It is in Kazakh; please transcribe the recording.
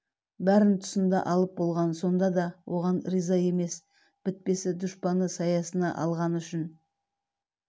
бәрін тұсында алып болған сонда да оған риза емес бітпесі дұшпаны саясына алғаны үшін